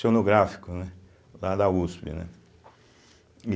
sonográfico, né, lá da uspe né. e